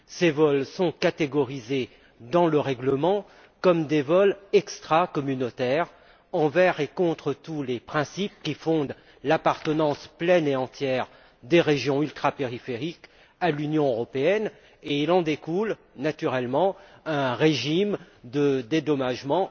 Ces vols sont catégorisés dans le règlement comme des vols extracommunautaires, envers et contre tous les principes qui fondent l'appartenance pleine et entière des régions ultrapériphériques à l'Union européenne, et il en découle naturellement un régime de dédommagement